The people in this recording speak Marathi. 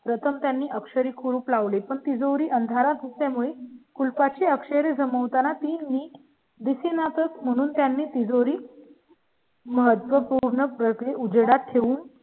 प्रथम त्यांनी अक्षरी कुलूप लावली पण तिजोरी अंधारातच त्यामुळे कुलपा ची अक्षरे जमा होताना ती मी दिसेनात म्हणून त्यांनी तिजोरी. महत्त्वपूर्ण प्रती उघडा ठेवून